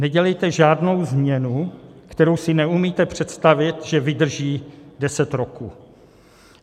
Nedělejte žádnou změnu, kterou si neumíte představit, že vydrží deset roků.